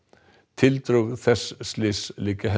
tildrög þess slys liggja